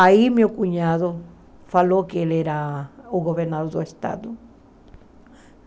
Aí meu cunhado falou que ele era o governador do estado.